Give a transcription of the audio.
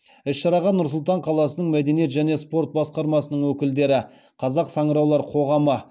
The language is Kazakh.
іс шараға нұр сұлтан қаласының мәдениет және спорт басқармасының өкілдері қазақ саңыраулар қоғамы